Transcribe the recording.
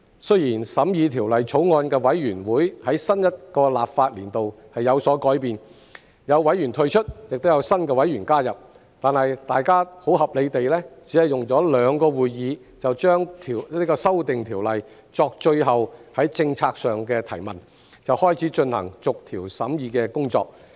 雖然審議《條例草案》的委員會在新一個立法年度有所改變，有委員退出，亦有新委員加入，但大家很合理地只用了兩個會議就《條例草案》作最後政策上的提問，便開始進行逐條審議的工作。